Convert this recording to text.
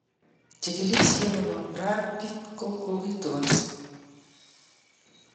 Chikilisiet ne kobo Brad pitt ko kokitonsi